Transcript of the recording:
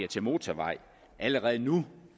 til motorvej allerede nu